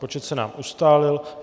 Počet se nám ustálil.